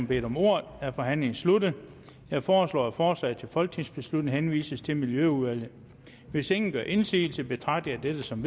bedt om ordet er forhandlingen sluttet jeg foreslår at forslaget til folketingsbeslutning henvises til miljøudvalget hvis ingen gør indsigelse betragter jeg dette som